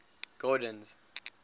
gordon's